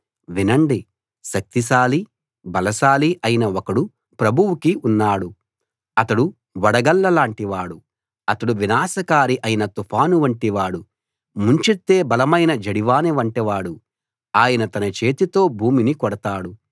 వినండి శక్తిశాలీ బలశాలీ అయిన ఒకడు ప్రభువుకి ఉన్నాడు అతడు వడగళ్ళ లాంటి వాడు అతడు వినాశనకారి అయిన తుఫాను వంటివాడు ముంచెత్తే బలమైన జడివాన వంటివాడు ఆయన తన చేతితో భూమిని కొడతాడు